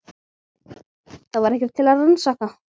Það var ekkert til að rannsaka.